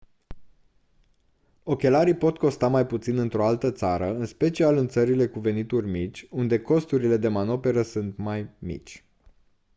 ochelarii pot costa mai puțin într-o altă țară în special în țările cu venituri mici unde costurile de manoperă sunt mai mici